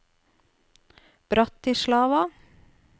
Bratislava